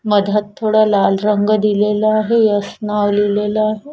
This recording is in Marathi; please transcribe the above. मधात थोडा लाल रंग दिलेला आहे यस नाव लिहिलेल आहे.